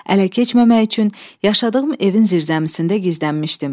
Ələ keçməmək üçün yaşadığım evin zirzəmisində gizlənmişdim.